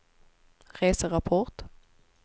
reserapport